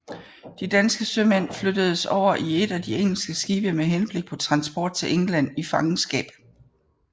De danske sømænd flyttedes over i et af de engelske skibe med henblik på transport til England i fangenskab